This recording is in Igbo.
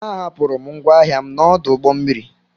A hapụrụ m ngwa ahịa m n'ọdụ ụgbọ mmiri.